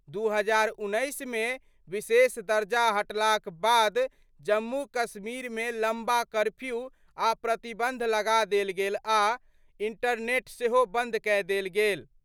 2019 मे विशेष दर्जा हटलाक बाद जम्मू कश्मीर मे लंबा कर्फ्यू आ प्रतिबंध लगा देल गेल आ इंटरनेट सेहो बंद कए देल गेल।